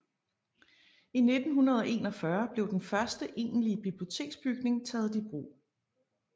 I 1941 blev den første egentlige biblioteksbygning taget i brug